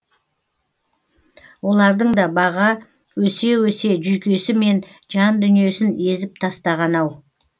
олардың да баға өсе өсе жүйкесі мен жандүниесін езіп тастаған ау